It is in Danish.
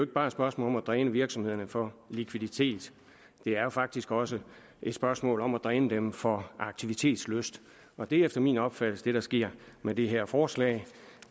bare et spørgsmål om at dræne virksomhederne for likviditet det er faktisk også et spørgsmål om at dræne dem for aktivitetslyst og det er efter min opfattelse det der sker med det her forslag